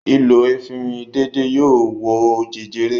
Ìlò efirin déédéé yóò wo jẹjẹrẹ.